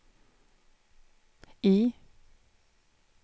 I